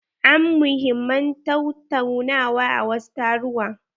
An muhimman tataunawa a wasu taruwa.